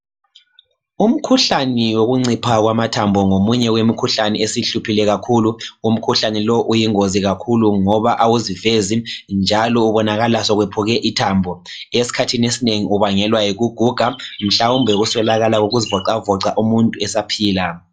Umkhuhlane wokuncipha kwamathambo ngomunye wemkhuhlane essihluphile kakhulu. Umkhuhlane lowu yingozi kakhulu ngoba awuzivezi njalo kubonakala ngokuqamuka ithambo. Esikhathini esinengi ubangelwa yikuguga lokuswelakala kokuzivoxavoxa umuntu esaphila.